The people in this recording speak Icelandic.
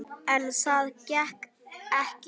En það gekk ekki.